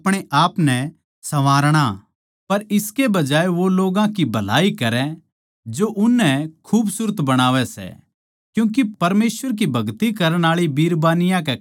पर इसके बजाए वो लोग्गां की भलाई करै जो उननै खूबसूरत बणावै सै क्यूँके परमेसवर की भगति करण आळी बिरबानियाँ कै खात्तर योए सही सै